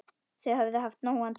Þau höfðu haft nógan tíma.